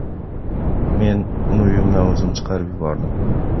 Men uni uyimdan o‘zim chiqarib yubordim.